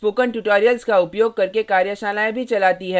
spoken tutorials का उपयोग करके कार्यशालाएँ भी चलाती है